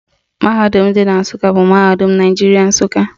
Mahadum dị na Nsụka bụ Mahadum Naijiria, Nsụka